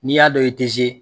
N'i y'a dɔn i tɛ ze